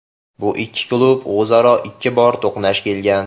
Bu ikki klub o‘zaro ikki bor to‘qnash kelgan.